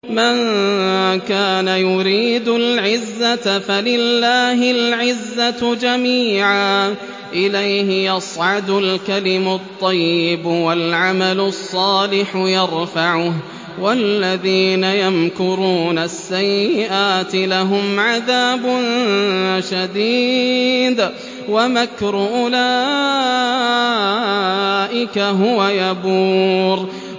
مَن كَانَ يُرِيدُ الْعِزَّةَ فَلِلَّهِ الْعِزَّةُ جَمِيعًا ۚ إِلَيْهِ يَصْعَدُ الْكَلِمُ الطَّيِّبُ وَالْعَمَلُ الصَّالِحُ يَرْفَعُهُ ۚ وَالَّذِينَ يَمْكُرُونَ السَّيِّئَاتِ لَهُمْ عَذَابٌ شَدِيدٌ ۖ وَمَكْرُ أُولَٰئِكَ هُوَ يَبُورُ